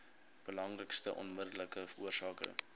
belangrikste onmiddellike oorsake